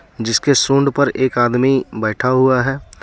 जिसके सुंड पर एक आदमी बैठा हुआ है.